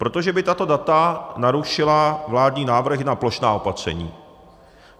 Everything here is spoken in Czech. Protože by tato data narušila vládní návrhy na plošná opatření.